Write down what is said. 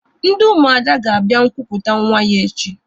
Ndị Ụmụada ga-abịa nkupụta nwa ya echi.